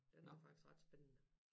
Den er faktisk ret spændende